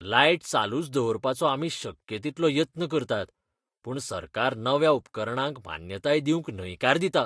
Light चालूच दवरपाचो आमी शक्य तितलो यत्न करतात पूण सरकार नव्या उपकरणांक मान्यताय दिवंक न्हयकार दिता.